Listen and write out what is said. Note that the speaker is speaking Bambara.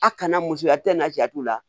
A kana muso a tɛ na ja t'u la